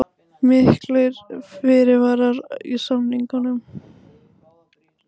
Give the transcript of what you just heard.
Miklir fyrirvarar í samningnum